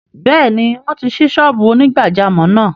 Bẹ́ẹ̀ni wọ́n ti ṣí ṣọ́ọ́bù onígbàjámọ̀ náà